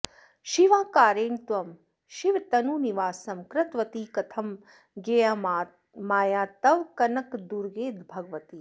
शिवाकारेण त्वं शिवतनुनिवासं कृतवती कथं ज्ञेया माया तव कनकदुर्गे भगवति